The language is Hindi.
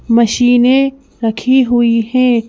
मशीनें रखी हुई हैं।